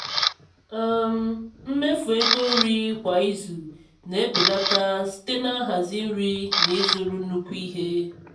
um mmefu ego nri kwa izu na-ebelata site na nhazi nri na ịzụrụ nnukwu ihe.